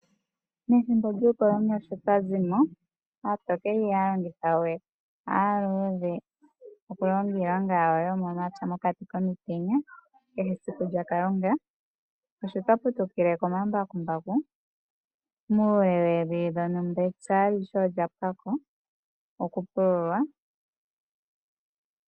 Methimbo lyuukoloni osho twa zi mo ,aatokele ihaya longitha we aaluudhe okulonga iilonga yawo, yomomapya mokati komutenya kehe esiku lya Kalunga, osho twa putukile komambakumbaku muule woowili dhontumba empya alihe olya pwako oku pululwa.